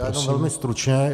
Já jenom velmi stručně.